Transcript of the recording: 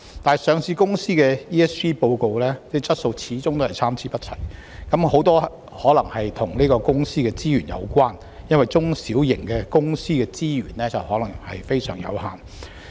不過，上市公司 ESG 報告的質素始終是參差不齊，這很可能與公司的資源有關，因為中小型企業的資源可能非常有限。